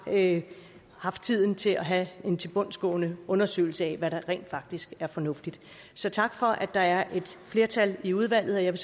at have haft tiden til at have en tilbundsgående undersøgelse af hvad der rent faktisk er fornuftigt så tak for at der er et flertal i udvalget jeg